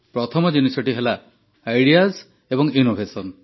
ପ୍ରଥମ ଜିନିଷ ହେଲା ଆଇଡିଆସ ଏବଂ ଇନ୍ନୋଭେସନ